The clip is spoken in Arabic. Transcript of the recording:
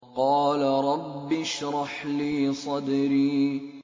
قَالَ رَبِّ اشْرَحْ لِي صَدْرِي